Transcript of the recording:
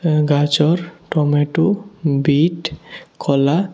গাজর tomato beet কলা--